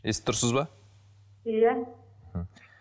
естіп тұрсыз ба иә мхм